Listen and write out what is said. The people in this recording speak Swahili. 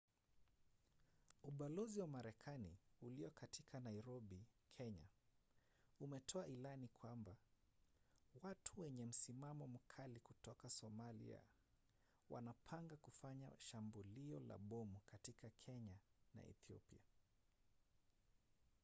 ubalozi wa marekani ulio katika nairobi kenya umetoa ilani kwamba watu wenye msimamo mkali kutoka somalia wanapanga kufanya shambulio la bomu katika kenya na ethiopia